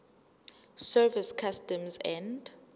service customs and